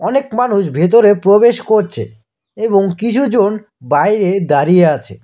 অনেক মানুষ ভেতরে প্রবেশ করছে এবং কিছু জন বাইরে দাঁড়িয়ে আছে।